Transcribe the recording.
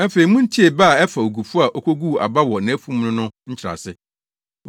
“Afei muntie bɛ a ɛfa ogufo a okoguu aba wɔ nʼafum no no nkyerɛase.